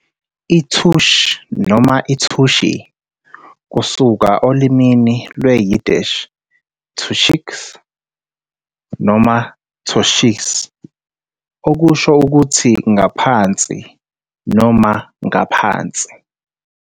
I-Tush noma i-tushy, kusuka olimini lwesi-Yiddish "tuchis" noma "tochis" okusho ukuthi "ngaphansi" noma "ngaphansi",